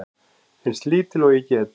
Eins lítil og ég get.